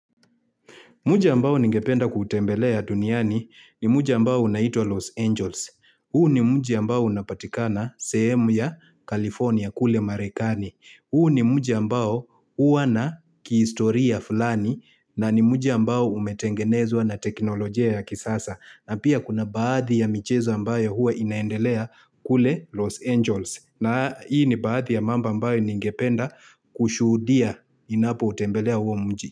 Muji ambao ningependa kuutembelea duniani ni muji ambao unaitwa Los Angels. Huu ni muji ambao unapatikana sehemu ya California kule Marekani. Huu ni muji ambao huwa na kihistoria fulani na ni muji ambao umetengenezwa na teknolojia ya kisasa. Na pia kuna baadhi ya michezo ambayo huwa inaendelea kule Los Angels. Na hii ni baadhi ya mambo ambayo ningependa kushuhudia ninapo utembelea huo mji.